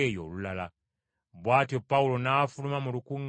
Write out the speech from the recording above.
Bw’atyo Pawulo n’afuluma mu lukuŋŋaana lwabwe.